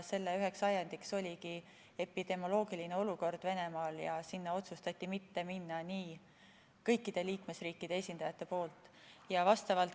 Selle üks ajend oligi epidemioloogiline olukord Venemaal ja sinna otsustati minna nii, et mitte kõikidest liikmesriikidest ei ole esindajaid.